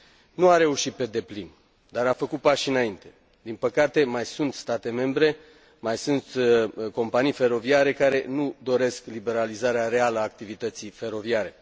Nu a reușit pe deplin, dar a făcut pași înainte. Din păcate, mai sunt state membre, mai sunt companii feroviare care nu doresc liberalizarea reală a activității feroviare.